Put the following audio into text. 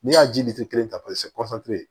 N'i y'a ji kelen ta